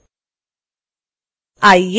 आइए preview window बंद करते हैं